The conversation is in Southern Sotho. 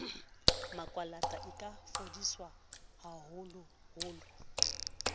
makwalata e ka fodiswa haholoholo